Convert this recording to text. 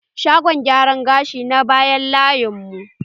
Shagon gyaran gashin na nan bayan layin mu.